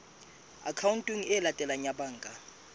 akhaonteng e latelang ya banka